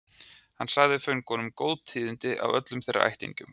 Hann sagði föngunum góð tíðindi af öllum þeirra ættingjum.